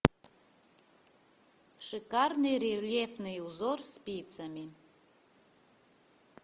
шикарный рельефный узор спицами